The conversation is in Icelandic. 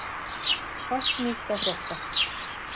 Fátt nýtt að frétta